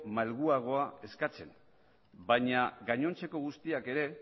malguagoa eskatzen baina gainontzeko guztiak ere